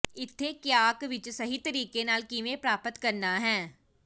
ਇੱਥੇ ਕਿਆਕ ਵਿੱਚ ਸਹੀ ਤਰੀਕੇ ਨਾਲ ਕਿਵੇਂ ਪ੍ਰਾਪਤ ਕਰਨਾ ਹੈ